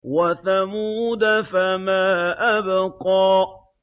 وَثَمُودَ فَمَا أَبْقَىٰ